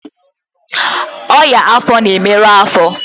ọnyá afọ na-emerụ afo